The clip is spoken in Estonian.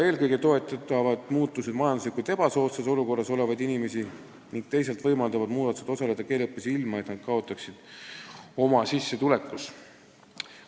Eelkõige toetavad need muudatused majanduslikult ebasoodsas olukorras olevaid inimesi, teisalt võimaldavad inimestel osaleda keeleõppes, ilma et nad kaotaksid oma sissetulekus.